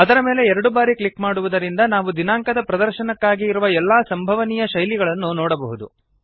ಅದರ ಮೇಲೆ ಎರಡು ಬಾರಿ ಕ್ಲಿಕ್ ಮಾಡುವುದರಿಂದ ನಾವು ದಿನಾಂಕದ ಪ್ರದರ್ಶನಕ್ಕಾಗಿ ಇರುವ ಎಲ್ಲಾ ಸಂಭವನೀಯ ಶೈಲಿಗಳನ್ನು ನೋಡಬಹುದು